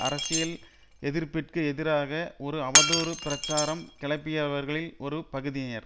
அரசியல் எதிர்ப்பிற்கு எதிராக ஒரு அவதூறு பிரசாரம் கிளப்பியவர்களில் ஒரு பகுதியினர்